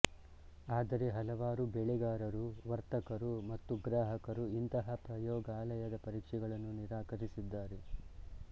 ಆದರೆ ಹಲವರು ಬೆಳೆಗಾರರುವರ್ತಕರು ಮತ್ತು ಗ್ರಾಹಕರು ಇಂತಹ ಪ್ರಯೋಗಾಲಯದ ಪರೀಕ್ಷೆಗಳನ್ನು ನಿರಾಕರಿಸಿದ್ದಾರೆ